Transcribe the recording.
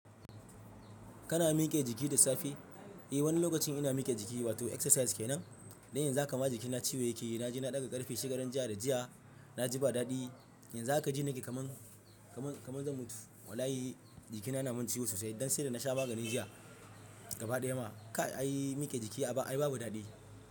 Kana miƙe jiki da safe? Eh, wani lokacin ina miƙe jiki wato exercise kenan. Dan yanzu haka ma jikina ciwo yake. Na je na ɗaga ƙarfe shigarar jiya da jiya na ji ba daɗi. Yanzu haka ji nake kaman, kaman, kaman zan mutu. Wallahi, jikina na mun ciwo sosai don sai da na sha magani jiya gaba daya ma. Ka ai miƙe jiki a baya ai babu daɗi.